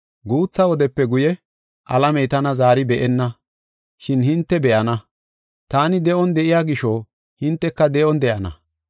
Guutha wodepe guye alamey tana zaari be7enna, shin hinte be7ana. Taani de7on de7iya gisho hinteka de7on de7ana.